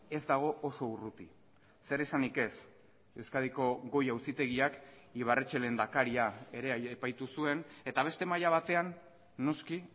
ez dago oso urruti zer esanik ez euskadiko goi auzitegiak ibarretxe lehendakaria ere epaitu zuen eta beste maila batean noski